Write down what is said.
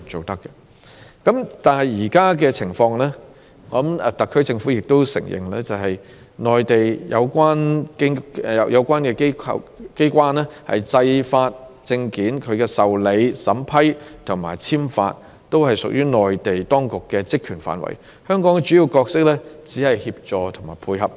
但是，按現時的情況，特區政府也承認是由內地有關機關處理一切發證事宜，申請的受理、審批及證件簽發均屬於內地當局的職權範圍，香港的主要角色只在於協助和配合。